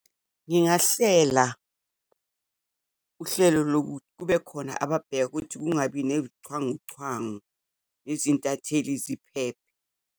Ngingahlela uhlelo lokuthi kubekhona ababheka ukuthi kungabi neyichwanguchwangu, nezintatheli ziphephe.